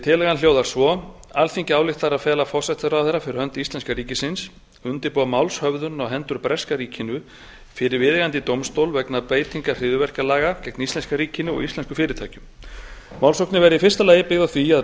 tillagan hljóðar svo alþingi ályktar að fela forsætisráðherra fyrir hönd íslenska ríkisins að undirbúa málshöfðun á hendur breska ríkinu fyrir viðeigandi dómstól vegna beitingar hryðjuverkalaga gegn íslenska ríkinu og íslenskum fyrirtækjum málssóknin verði í fyrsta lagi byggð á því að